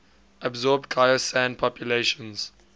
absorbed khoisan populations